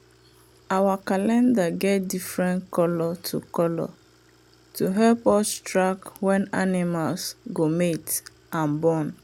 our calendar get different colour to colour to help us track when animals go mate and born.